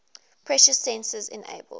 pressure sensors enabled